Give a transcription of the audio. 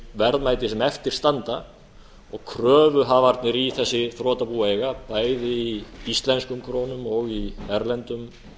verðmæti sem eftir standa og kröfuhafarnir í þessi þrotabú eiga bæði í íslenskum krónum og í erlendum